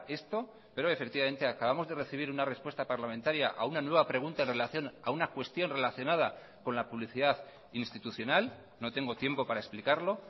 esto pero efectivamente acabamos de recibir una respuesta parlamentaria a una nueva pregunta en relación a una cuestión relacionada con la publicidad institucional no tengo tiempo para explicarlo